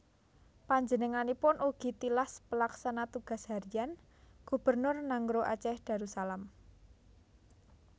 Panjenenganipun ugi tilas Pelaksana Tugas Harian Gubernur Nanggroe Aceh Darussalam